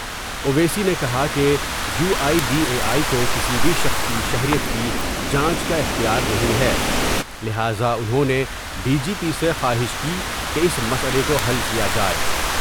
اویسی نے کہا کہ U I D A I کو کسی بھی شخص کی شہریت کی جانچ کا اختیار نہیں ہے لہذا انہوں نے ڈی جی پی سے خواہش کی کہ اس مسئلہ کو حل کیا جائے ۔